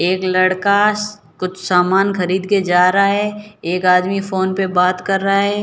एक लड़का श कुछ सामान खरीद के जा रहा है एक आदमी फोन पे बात कर रहा है।